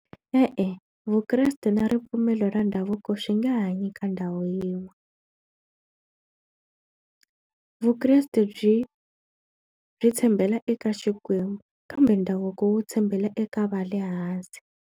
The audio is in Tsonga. E-e, vukreste na ripfumelo ra ndhavuko swi nge hanyi ka ndhawu yin'we vukreste byi byi tshembela eka Xikwembu kambe ndhavuko wo tshembela eka va le hansi.